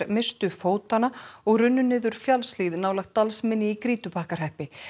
misstu fótanna og runnu niður fjallshlíð nálægt Dalsmynni í Grýtubakkahreppi